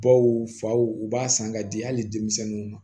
Baw faw u b'a san k'a di hali denmisɛnninw ma